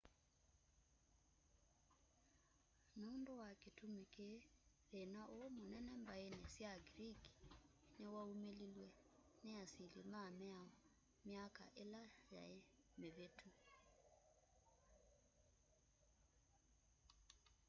nũndũ wa kĩtũmĩ kĩĩ thĩna ũũ mũnene mbaĩnĩ sya greek nĩwaũmĩlĩlwe nĩ nĩ asĩlĩ ma mĩao mĩkya ĩla yaĩ mĩvĩtũ